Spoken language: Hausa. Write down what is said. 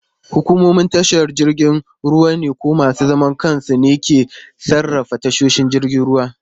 Hukumomin tashar jiragen ruwa ko masu zaman kansu ne ke sarrafa tashoshin jiragen ruwa.